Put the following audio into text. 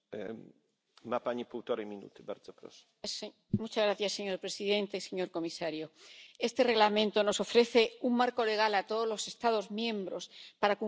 Señor presidente, señor comisario, este Reglamento nos ofrece un marco legal a todos los Estados miembros para cumplir con los objetivos del Acuerdo de París en los próximos años.